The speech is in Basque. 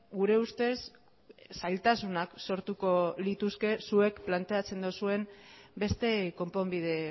gure ustez zailtasunak sortuko lituzke zuek planteatzen duzuen beste konponbide